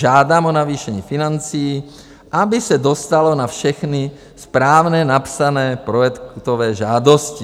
Žádám o navýšení financí, aby se dostalo na všechny správně napsané projektové žádosti.